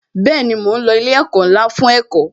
Bẹẹni, mo ń lo ilé ẹ̀kọ́ ńlá fún ẹ̀kọ́